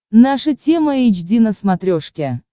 наша тема эйч ди на смотрешке